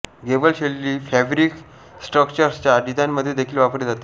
Gable शैली fabric स्ट्रक्चर्सच्या डिझाइनमध्ये देखील वापरली जाते